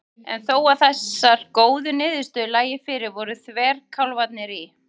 En þó að þessar góðu niðurstöður lægju fyrir voru þverkálfarnir í